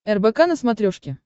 рбк на смотрешке